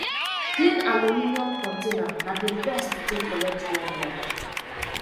clean aluminium container na di best to take collect raw milk